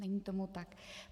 Není tomu tak.